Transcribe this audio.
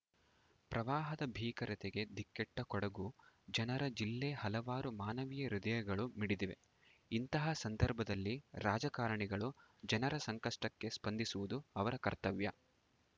ಪ್ರವಾಹದ ಭೀಕರತೆಗೆ ದಿಕ್ಕೆಟ್ಟಕೊಡಗು ಜನರ ಜಿಲ್ಲೆ ಹಲವಾರು ಮಾನವೀಯ ಹೃದಯಗಳು ಮಿಡಿದಿವೆ ಇಂತಹ ಸಂದರ್ಭದಲ್ಲಿ ರಾಜಕಾರಣಿಗಳು ಜನರ ಸಂಕಷ್ಟಕ್ಕೆ ಸ್ಪಂದಿಸುವುದು ಅವರ ಕರ್ತವ್ಯ